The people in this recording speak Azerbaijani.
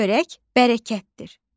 Çörək bərəkətdir.